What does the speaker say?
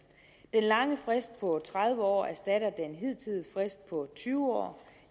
den lange frist på tredive år erstatter den hidtidige frist på tyve år